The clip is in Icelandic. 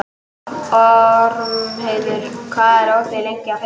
Ormheiður, hvað er opið lengi á fimmtudaginn?